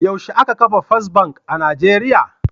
Yaushe aka kafa Fes Bank a Nijeriya.